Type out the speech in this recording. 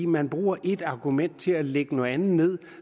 man bruger et argument til at lægge noget andet ned